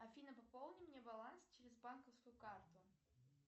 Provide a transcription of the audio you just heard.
афина пополни мне баланс через банковскую карту